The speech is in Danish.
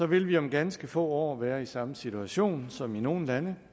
vil vi om ganske få år være i samme situation som nogle lande